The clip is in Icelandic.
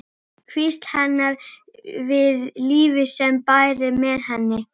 Hvísl hennar við lífið sem bærist með henni.